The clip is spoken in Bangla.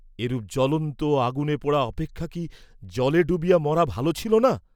এরূপ জ্বলন্ত আগুনে পোড়া অপেক্ষা কি জলে ডুবিয়া মরা ভাল ছিল না?